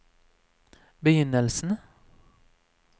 begynnelsen